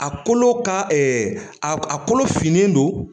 A kolo ka ɛɛ a kolo finnen don